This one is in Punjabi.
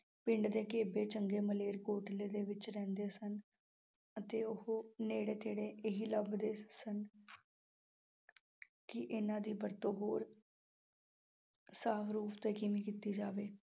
ਪਿੰਡ ਦੇ ਘੇਬੇ ਚੰਗੇ ਮਲੇਰਕੋਟਲੇ ਦੇ ਵਿੱਚ ਰਹਿੰਦੇ ਸਨ। ਅਤੇ ਉਹ ਨੇੜੇ -ਤੇੜੇ ਇਹੀ ਲੱਭਦੇ ਸਨ। ਕੀ ਇਹਨਾਂ ਦੀ ਵਰਤੋਂ ਹੋਰ ਰੂਪ ਤੋਂ ਕਿਵੇਂ ਕੀਤੀ ਜਾਵੇ।